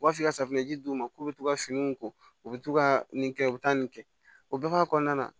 U b'a f'i ka safunɛji d'u ma k'u be to ka finiw ko u bɛ to ka nin kɛ u be taa nin kɛ o bɛɛ b'a kɔnɔna na